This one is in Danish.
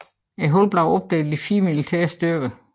Hullet er opdelt i fire militære styrker